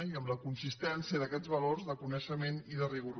i en la consistència d’aquests valors de coneixement i de rigor